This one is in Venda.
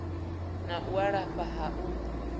na u lafha ha u